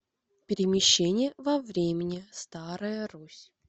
перемещение во времени старая русь